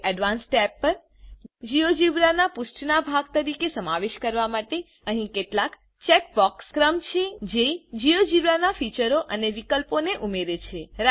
હવે advance tab પર GeoGebra ના પુષ્ઠના ભાગ તરીકે સમાવેશ કરવા માટે અહી કેટલાક ચેકબોક્સ કર્મ છે જે જીઓજીબ્રા ના ફીચરો અને વિકલ્પો ને ઉમેરે છે